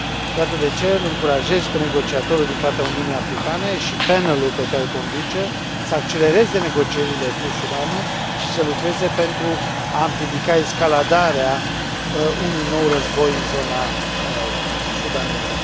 Iată de ce îl încurajez pe negociatorul din partea Uniunii Africane și panelul pe care îl conduce să accelereze negocierile cu Sudanul și să lucreze pentru a împiedica escaladarea unui nou război în zona sudaneză.